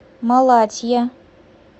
малатья